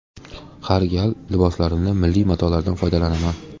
Har gal liboslarimda milliy matolardan foydalanaman.